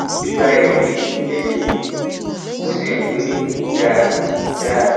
ó ti gba ẹ̀rí ẹ̀jẹ̀ mi ó sì hàn pé kò dáa dáa